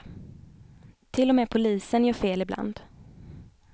Till och med polisen gör fel ibland.